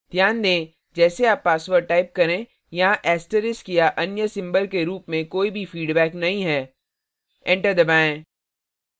ध्यान दें जैसे आप password type करें यहाँ asterisk या अन्य symbols के रूप में कोई भी फीडबैक नहीं है enter दबाएं